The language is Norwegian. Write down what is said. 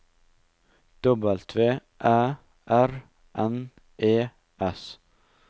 W Æ R N E S